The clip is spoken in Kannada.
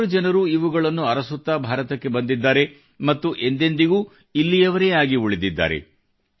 ಹಲವಾರು ಜನರು ಇವುಗಳನ್ನು ಅರಸುತ್ತಾ ಭಾರತಕ್ಕೆ ಬಂದಿದ್ದಾರೆ ಮತ್ತು ಎಂದೆಂದಿಗೂ ಇಲ್ಲಿಯವರೇ ಆಗಿ ಉಳಿದಿದ್ದಾರೆ